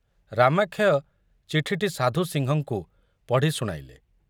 ରାମାକ୍ଷୟ ଚିଠିଟି ସାଧୁ ସିଂହଙ୍କୁ ପଢ଼ି ଶୁଣାଇଲେ।